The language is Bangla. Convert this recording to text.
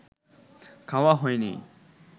খাওয়া হয়নি